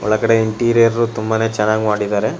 ಒಳಗಡೆ ಇಂಟೀರಿಯರ್ ತುಂಬಾನೇ ಚೆನ್ನಾಗಿ ಮಾಡಿದ್ದಾರೆ.